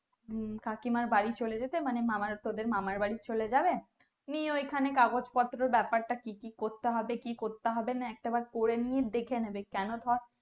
কাকিমার বাড়িতে চলে যেতে মানে তোদের মামার বাড়ি চলে যাবে নিয়ে ওখানে কাগজ পত্র বেপার তা কি কি করতে হবে কি করতে হবে না একটা বার করে নিয়ে দেখেনেবে কোনো ধর